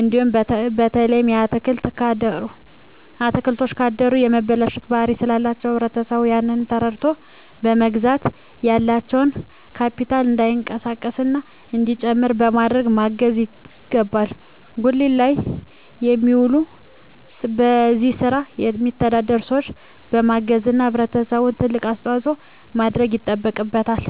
እንዲኖር በተለይ አትክልቶች ካደሩ የመበላሸት ባህሪ ስላላቸዉ ህብረተሰቡ ያንን ተረድተዉ በመግዛት ያላቸዉ ካቢታል እንዳይቀንስና እንዲጨምር በማድረግ ማገዝ ይገባል ጉሊት ላይ የሚዉሉ በዚህ ስራ የሚተዳደሩ ሰዎችን በማገዝና ህብረተሰቡ ትልቅ አስተዋፅኦ ማድረግ ይጠበቅበታል